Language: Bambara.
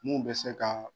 Mun bɛ se ka